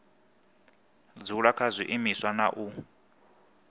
dzula kha zwiimiswa na u